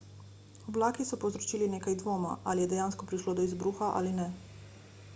oblaki so povzročili nekaj dvoma ali je dejansko prišlo do izbruha ali ne